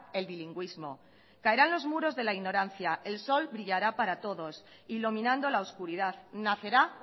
el bilingüismo caerán los muros de la ignorancia el sol brillará para todos iluminando la oscuridad nacerá